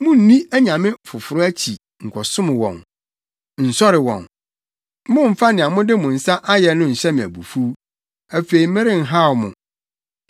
Munni anyame foforo akyi nkɔsom wɔn, nsɔre wɔn; mommfa nea mode mo nsa ayɛ no nhyɛ me abufuw. Afei merenhaw mo.”